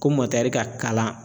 Ko ka kalan